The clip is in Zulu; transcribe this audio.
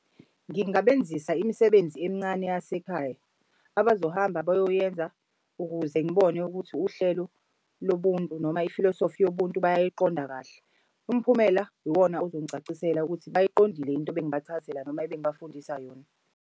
Ngingasebenzisa imisebenzi emincane yasekhaya abazohamba bayoyiyenza ukuze ngibone ukuthi uhlelo lobuntu noma ifilosofi yobuntu bayayiqonda kahle. Umphumela iwona ozongicacisela ukuthi bayiqondile into bengibachazisela noma ebengibafundisa yona.